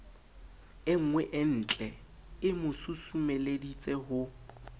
e nngweentlee mo susumeleditse ho